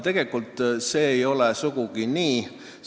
Tegelikult see ei ole sugugi nii.